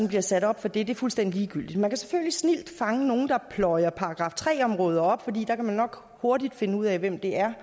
bliver sat op for det er fuldstændig ligegyldigt man kan selvfølgelig snildt fange nogle der pløjer § tre områder op for der kan man nok hurtigt finde ud af hvem det er